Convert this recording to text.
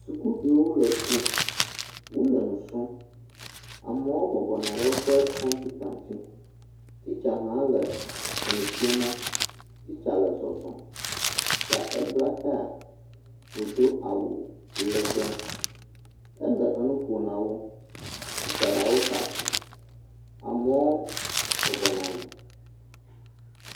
Sukuviwo le suku, wole nu srɔ̃m, amewo bɔbɔ nɔ anyi ɖe woƒe kɔmputa ŋuti, titsa hã le enu fiemɔ, titsa le zɔzɔ, titsa, ebla taya, wòdo awu legbe, ele enu ƒo na wo, titsa la wo ta fu, amewo bɔbɔ nɔ anyi.